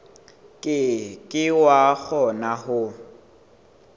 ke ke wa kgona ho